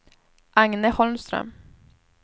Agne Holmström